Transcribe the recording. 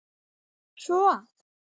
svo að